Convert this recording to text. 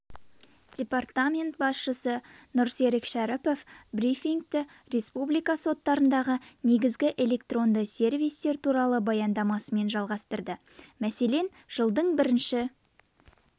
департамент басшысы нұрсерік шәріпов брифингті республика соттарындағы негізгі электронды сервистер туралы баяндамасымен жалғастырды мәселен жылдың бірінші